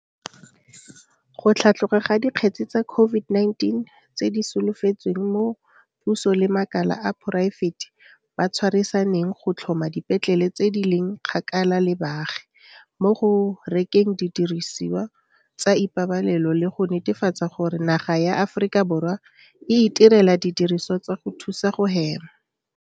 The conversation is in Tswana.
go tlhatloga ga dikgetse tsa COVID-19 tse di solofetsweng mo puso le makala a poraefete ba tshwarisaneng go tlhoma dipetlele tse di leng kgakala le baagi, mo go rekeng didirisiwa tsa ipabalelo le go netefatsa gore naga ya Aforika Borwa e itirela didirisiwa tsa go thusa go hema.